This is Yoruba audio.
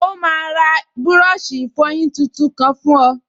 Ó máa ra búrọ̀ṣì ìfọyín tuntun kan fún ọ